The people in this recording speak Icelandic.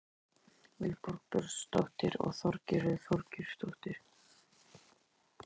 Heimild: Vilborg Björnsdóttir og Þorgerður Þorgeirsdóttir.